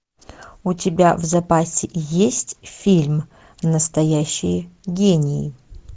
у тебя в запасе есть фильм настоящие гении